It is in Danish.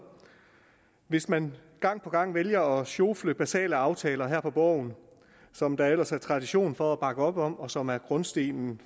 hvis man gang på gang vælger at sjofle basale aftaler her på borgen som der ellers er tradition for at bakke op om og som er grundstenen